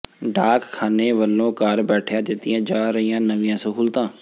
ਡਾਕ ਖਾਨੇ ਵੱਲੋਂ ਘਰ ਬੈਠਿਆਂ ਦਿੱਤੀਆਂ ਜਾ ਰਹੀਆਂ ਨਵੀਆਂ ਸਹੂਲਤਾਂ